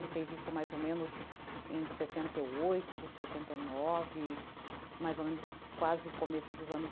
Ele fez isso mais ou menos em setenta e oito, setenta e nove, mais ou menos quase começo dos anos